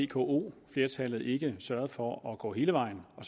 vko flertallet ikke sørgede for at gå hele vejen og